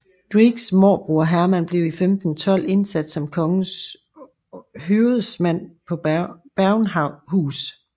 Dyvekes morbror Herman blev i 1512 indsat som kongens høvedsmand på Bergenhus